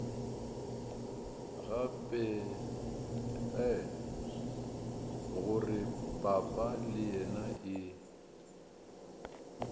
gore papa le yena e